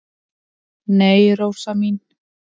"""Nei, Rósa mín."""